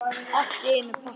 Allt í einum pakka!